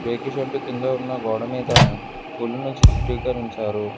రేకు షెడ్డు కింద ఉన్న గోడ మీద పూలును చిత్రీకరించారు.